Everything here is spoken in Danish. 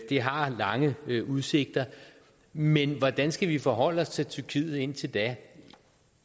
det har lange udsigter men hvordan skal vi forholde os til tyrkiet indtil da